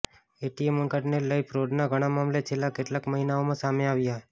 ATM કાર્ડને લઈ ફ્રોડના ઘણા મામલે છેલ્લા કેટલાક મહિનાઓમાં સામે આવ્યા છે